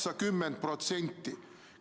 80%!